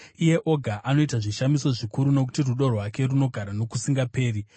iye oga anoita zvishamiso zvikuru, Nokuti rudo rwake runogara nokusingaperi.